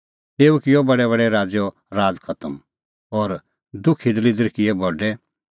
तेऊ किअ बडैबडै राज़ैओ राज़ खतम और दुखीदल़िदर किऐ बडै